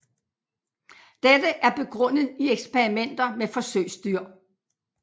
Dette er begrundet i eksperimenter med forsøgsdyr